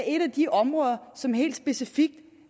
et af de områder som helt specifikt